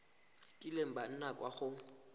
kileng ba nna kwa go